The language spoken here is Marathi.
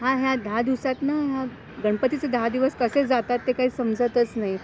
हां हां दहा दिवसेत ना, गणपती चे दहा दिवस कसे जातात ते काही समजतच नाही.